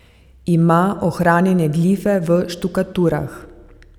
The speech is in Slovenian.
Ima ohranjene glife v štukaturah.